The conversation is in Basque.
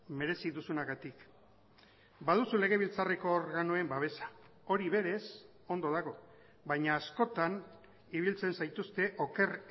merezi duzunagatik baduzu legebiltzarreko organoen babesa hori berez ondo dago baina askotan ibiltzen zaituzte oker